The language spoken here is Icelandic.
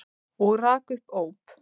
Og rak upp óp.